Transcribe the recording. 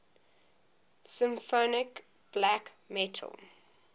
symphonic black metal